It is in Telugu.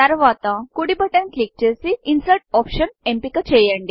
తర్వాత కుడి బటన్ క్లిక్ బటన్ క్లిక్ చేసి ఇన్సెర్ట్ optionఇన్సర్ట్ ఆప్షన్ ఎంపిక చేయండి